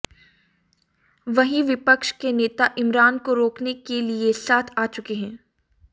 वहीं विपक्ष के नेता इमरान को रोकने के लिए साथ आ चुके हैं